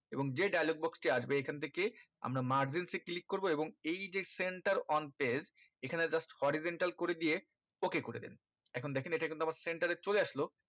এবং যে dialogue box টি আসবে এখান থেকে আমরা margin এ click করবো এবং এই যে center one page এখানে just horizontal করে দিয়ে ok করে দেন এখন দেখেন এটা কিন্তু আমার center চলে আসলো